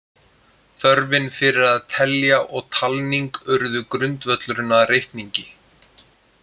Þörfin fyrir að telja og talning urðu grundvöllurinn að reikningi.